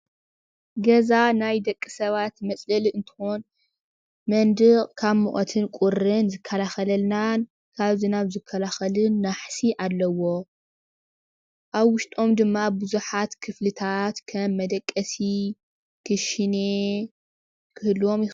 ገዛ ናይ ደቂ ሰባት መፅለሊ እንትኾን ምንድቕ ካብ ሙቐትን ቁርን ዝከላኸለልናን ካብ ዝናብ ዝከላኸልን ናሕሲ ኣለዎ። ኣብ ውሽጦም ድማ ብዙሓት ክፍሊታት ከም መደቀሲ ክሽኔ ክህልዎም ይኽእል።